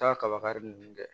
Taa kaba kari nunnu kɛ